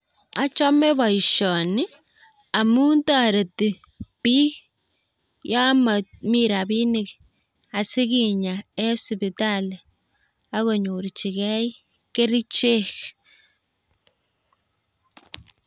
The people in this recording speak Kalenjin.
Achome booshoni amun toreti biik yon momi rabinik, asikinya en sibitali ak konyorchigei kerichek